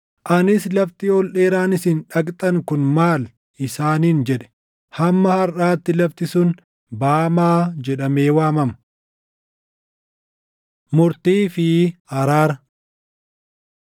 Anis lafti ol dheeraan isin dhaqxan kun maal?’ isaaniin jedhe.” Hamma harʼaatti lafti sun Baamaa jedhamee waamama. Murtii fi Araara